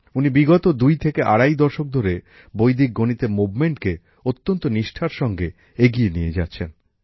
উনি বিগত দুই থেকে আড়াই দশক ধরে বৈদিক গণিতের আন্দোলনকে অত্যন্ত নিষ্ঠার সঙ্গে এগিয়ে নিয়ে যাচ্ছেন